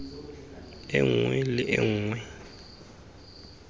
e nngwe le e nngwe